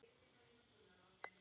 um og snúrum.